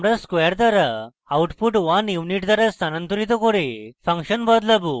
আমরা squared করা output 1 unit দ্বারা স্থানান্তরিত করে ফাংশন বদলাবো